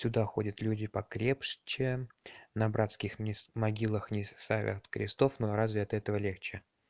туда ходят люди покрепче на братских могилах не ставят крестов но разве от этого легче